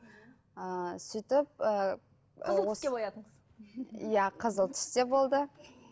ы сөйтіп ы иә қызыл түс те болды